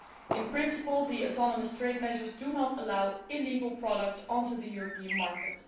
In principle, the autonomous trade measures do not allow illegal products onto the European market.